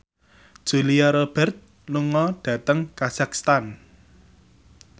Julia Robert lunga dhateng kazakhstan